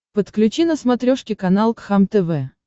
подключи на смотрешке канал кхлм тв